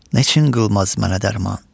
Neçin qılmaz mənə dərman?